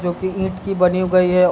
जो की ईट की बनी गयी है।